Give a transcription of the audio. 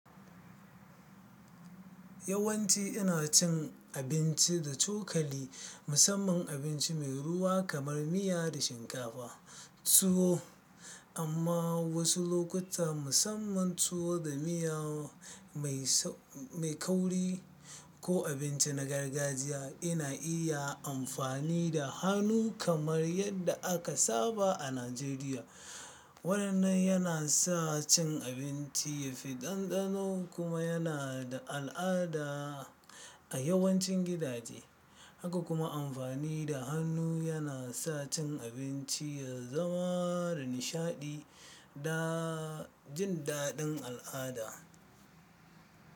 Yawanci ina cin abinci da cokali, musamman abinci mai ruwa kamar miya da shinkafa tuwo. Amma wasu lokuta, musamman tuwo da miya mai kauri ko abinci na gargajiya, ina iya amfani da hannu kamar yadda aka saba a Najeriya. Wannan yana sa cin abinci ya fi dandano kuma yana da al'ada a yawancin gidaje. Haka kuma amfani da hannu yana sa cin abinci ya zama nishaɗi da jin daɗin al'ada.